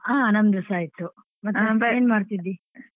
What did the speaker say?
ಹಾ ನನ್ದುಸ ಆಯ್ತು. ಮಾಡ್ತಿದ್ದಿ?